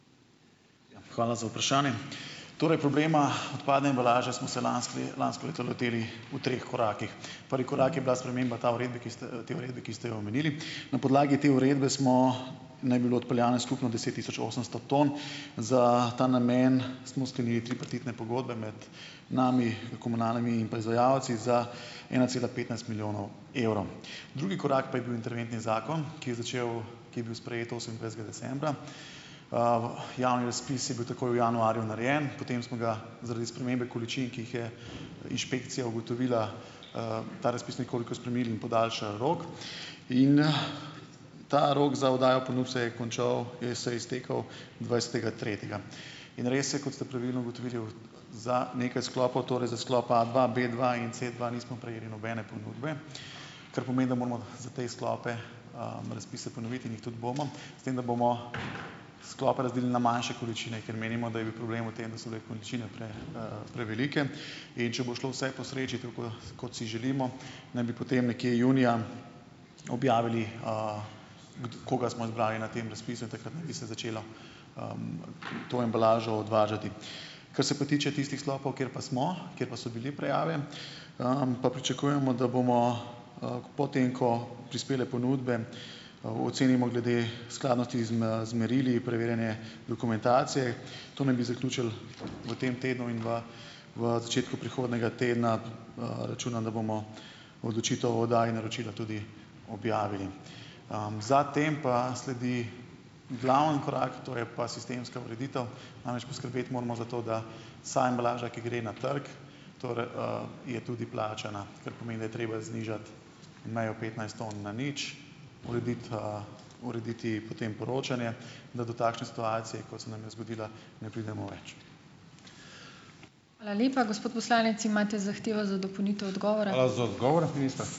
Hvala za vprašanje. Torej, problema odpadne embalaže smo se lansko lansko leto lotili v treh korakih. Prvi korak je bila sprememba ta uredbe, ki ste, te uredbe, ki ste jo omenili. Na podlagi te uredbe smo, naj bi bilo odpeljano skupno deset tisoč osemsto ton. Za ta namen smo sklenili tripartitne pogodbe med nami, komunalami in pa izvajalci, za ena cela petnajst milijonov evrov. Drugi korak pa je bil interventni zakon, ki je začel, ki je bil sprejet osemindvajsetega decembra. Javni razpis je bil takoj v januarju narejen, potem smo ga zaradi spremembe količin, ki jih je inšpekcija ugotovila, ta razpis nekoliko spremenili in podaljšali rok. Ta rok za oddajo ponudb se je končal, je se je iztekel dvajsetega tretjega. In res je, kot ste pravilno ugotovili, za nekaj sklopov, torej za sklop A dva, B dva in C dva nismo prejeli nobene ponudbe, kar pomeni, da moramo za te sklope, razpise ponoviti in jih tudi bomo. S tem, da bomo sklope razdelil na manjše količine, ker menimo, da je bil problem v tem, da so bile količine prevelike. In če bo šlo vse po sreči, tako kot si želimo, naj bi potem nekje junija objavili, koga smo izbrali na tem razpisu in takrat naj bi se začelo to embalažo odvažati. Ko se pa tiče tistih sklopov, kjer pa smo, kjer pa so bile prijave, pa pričakujemo, da bomo, po tem, ko prispele ponudbe, ocenimo glede skladnosti z merili preverjene dokumentacije, to naj bi zaključili v tem tednu in v v začetku prihodnjega tedna, računam, da bomo odločitev o oddaji naročila tudi objavili. Za tem pa sledi glavni korak, to je pa sistemska ureditev. Namreč, poskrbeti moramo za to, da vsa embalaža, ki gre na trg, je tudi plačana, kar pomeni, da je treba znižati mejo petnajst ton na nič, urediti urediti potem poročanje, da do takšne situacije, kot se nam je zgodila, ne pridemo več.